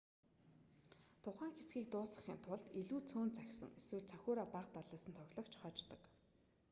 тухайн хэсгийг дуусгахын тулд илүү цөөн цохисон эсвэл цохиураа бага далайсан тоглогч хождог